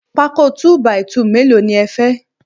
Pákó 2 by 2 mélòó ni ẹ fẹ́?